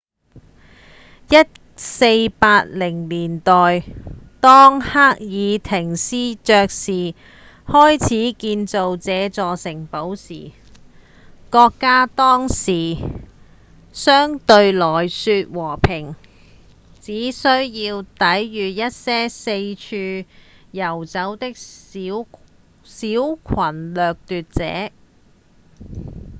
1480年代當黑斯廷斯爵士開始建造這座城堡時國家當時相對來說和平只需要抵禦一些四處遊走的小群掠奪者